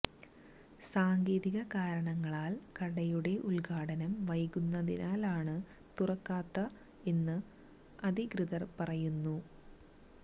സാങ്കേതിക കാരണങ്ങളാൽ കടയുടെ ഉദ്ഘാടനം വൈകുന്നതിനാലാണ് തുറക്കാത്ത എന്ന് അധികൃതർ പറയുന്നു